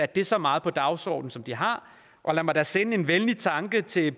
det så meget på dagsordenen som de har og lad mig da sende en venlig tanke til